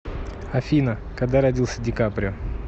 афина когда родился ди каприо